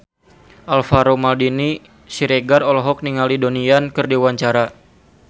Alvaro Maldini Siregar olohok ningali Donnie Yan keur diwawancara